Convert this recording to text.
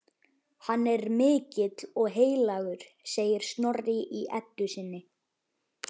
Hann er mikill og heilagur, segir Snorri í Eddu sinni.